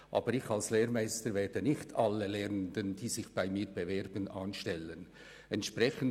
Aber ich als Lehrmeister weiss, dass ich nicht alle Lehrstellensuchenden bei mir anstellen würde.